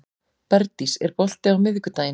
Bergdís, er bolti á miðvikudaginn?